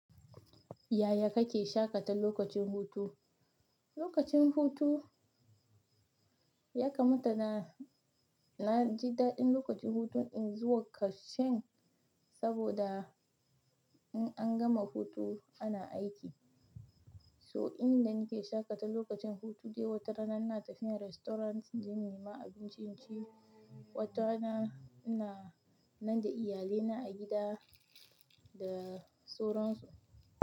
Yaya kake shaƙata lokacin hutu? Lokacin hutu ya kamata na, na ji daɗin lokacin hutun in zuwa kashen saboda in an gama hutu ana aiki. So inda nake shaƙata lokacin hutu dai watara ina tafiya restaurant inje in nemi abinci, watarana ina nande iyalaina a gida da suran su.